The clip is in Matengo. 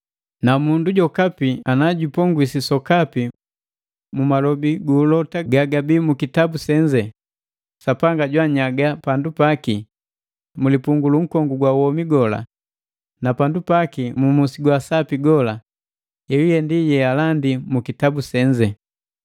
Na mundu jokapi na jupongwisi sokapi mu malobi guulota gagabi mu kitabu senze, Sapanga jwaanyaga pandu paki mulipungu lu nkongu gwa womi gola, na pandu paki mu musi gwaasapi gola, yeyuye ndi yealandi mu kitabu senze.